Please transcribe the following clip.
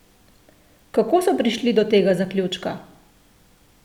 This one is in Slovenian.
Kako so prišli do tega zaključka?